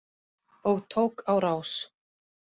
Og tók á rás.